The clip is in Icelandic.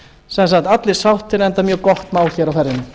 sem sagt allir sáttir enda mjög gott mál hér